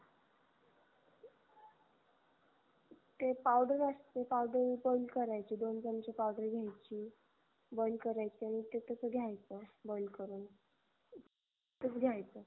ते powder असत ते powder open करायचं. दोन चमचे powder घ्यायची बंद करायचं अन तस घ्यायचं बंद करून तस घ्यायच